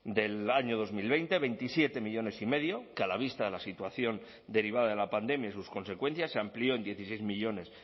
del año dos mil veinte veintisiete millónes y medio que a la vista de la situación derivada de la pandemia y sus consecuencias se amplió en dieciséis millónes